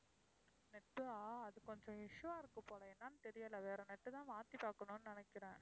net ஆ அது கொஞ்சம் issue வா இருக்கு போல, என்னன்னு தெரியல. அது வேற net தான் மாத்தி பார்க்கணும்னு நினைக்கிறேன்.